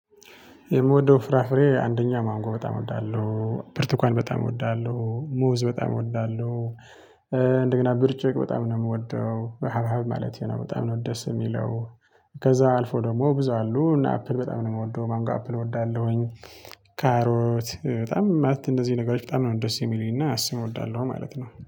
የምወደው ፍራፍሬ አንደኛ ማንጎ በጣም እወዳለሁ ብርቱካን በጣም እወዳለሁ ሙዝ በጣም እወዳለሁ። እንደገና ብርጭቅ በጣም ነው የምወደው በሀባብ ማለቴ ነው በጣም ነው ደስ የሚለው። ከዛ አልፎ ደግሞ ብዙ አሉ እና አፕል በጣም ነው የምወደው ማንጎ አፕል እወዳለሁኝ። ካሮት በጣም ማለት እነዚህ ነገሮች በጣም ነው ደስ የሚለኝና እሱን እወዳለሁ ማለት ነው